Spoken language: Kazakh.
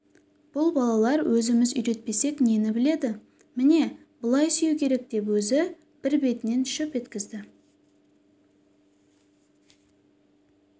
бұл балалар өзіміз үйретпесек нені біледі міне былай сүю керек деп өзі бір бетінен шөп еткізді